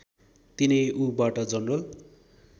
तिनै ऊबाट जनरल